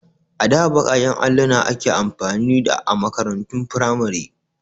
A da baƙaƙen alluna ake amfani da a makarantun firamare.